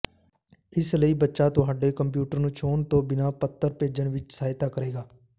ਇਸ ਲਈ ਬੱਚਾ ਤੁਹਾਡੇ ਕੰਪਿਊਟਰ ਨੂੰ ਛੋਹਣ ਤੋਂ ਬਿਨਾਂ ਪੱਤਰ ਭੇਜਣ ਵਿੱਚ ਸਹਾਇਤਾ ਕਰੇਗਾ